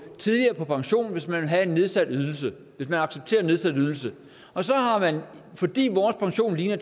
tidligere på pension hvis man vil have en nedsat ydelse hvis man accepterer en nedsat ydelse og så har man fordi vores pension ligner